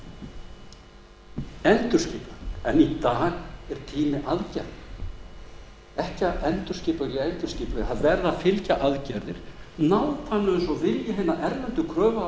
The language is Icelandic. endurskipulagning í dag er tími aðgerða ekki að endurskipuleggja og endurskipuleggja aðgerðir verða að fylgja nákvæmlega eins og vilji hinna erlendu kröfuhafa